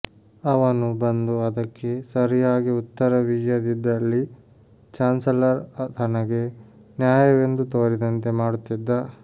ಅವನು ಬಂದು ಅದಕ್ಕೆ ಸರಿಯಾಗಿ ಉತ್ತರವೀಯದಿದ್ದಲ್ಲಿ ಚಾನ್ಸಲರ್ ತನಗೆ ನ್ಯಾಯವೆಂದು ತೋರಿದಂತೆ ಮಾಡುತ್ತ್ತಿದ್ದ